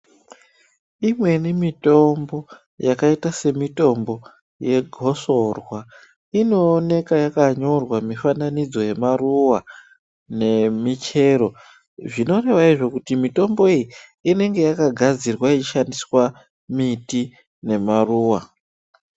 Imweni yemitombo yakaita semitombo yegosorwa inooneka yakanyorwa mufananidzo yemaruwa nemichero zvinoreva izvo kuti mitombo iyi inenge yakagadzirwa yeishandiswa miti nemaruwa.